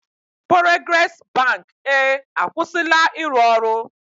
Porogres bank e akwụsịla ịrụ ọrụ.